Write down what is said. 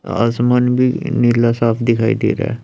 आसमान भी नीला साफ दिखाई दे रहा--